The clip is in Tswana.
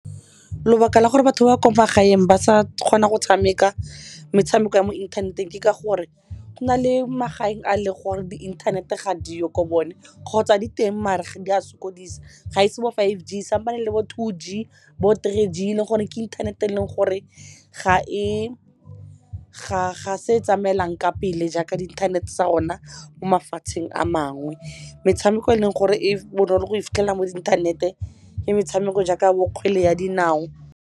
Lebaka la gore batho ba ko magaeng ba sa kgona go tshameka metshameko ya mo inthaneteng ke ka gore go na le magaeng a leng gore di inthanete ga di yo ko bone, kgotsa di teng maar ga di a sokodisa. Ga e se bo five G, sampane e le bo two G, bo three G le gore ke inthanete eleng gore ga e se e tsamaelang ka pele jaaka di inthanete tsa rona mo mafatsheng a mangwe. Metshameko eleng gore e bonolo go e fitlhelela mo inthanete ke metshameko jaaka bo kgwele ya dinao.